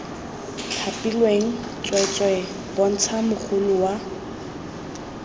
thapilweng tsweetswee bontsha mogolo wa